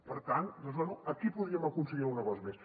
per tant doncs bé aquí podríem aconseguir alguna cosa més